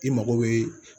I mago bɛ